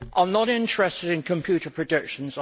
I am not interested in computer predictions.